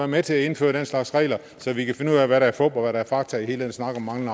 med til at indføre den slags regler så vi kan finde ud af hvad der er fup og hvad der er fakta i hele den snak om mangel